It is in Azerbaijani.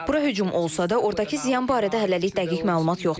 Bura hücum olsa da, ordakı ziyan barədə hələlik dəqiq məlumat yoxdur.